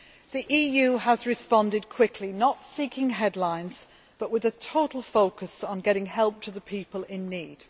The EU has responded quickly, not seeking headlines but with a total focus on getting help to the people in need.